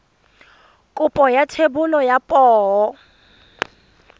kopo ya thebolo ya poo